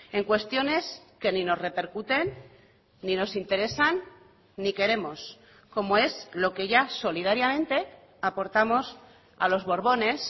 en cuestiones que ni nos repercuten ni nos interesan ni queremos como es lo que ya solidariamente aportamos a los borbones